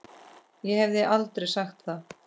Ég hefði aldrei sagt það.